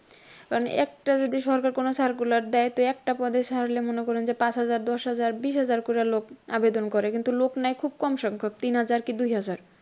কারণ একটা যদি সরকার কোনও circular দেয় একটা পদের সাকুল্যে মনে করেন যে পাঁচ হাজা দশ হাজার বিশ হাজার কইরা লোক আবেদন করে কিন্তু লোক নেয় খুব কম সংখ্যক তিন হাজার কি দুই হাজার।